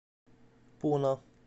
пуна